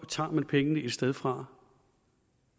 tager man pengene et sted fra